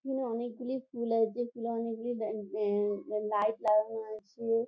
এবং অনেক গুলি চুলা যে চুলায় অনেকগুি এ এ লাইট লাগানো আছে।